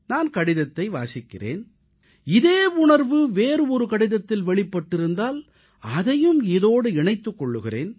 நான் கடிதத்தை வாசிக்கிறேன் இதே உணர்வு வேறு ஒரு கடிதத்தில் வெளிப்பட்டிருந்தால் அதையும் இதோடு இணைத்துக் கொள்கிறேன்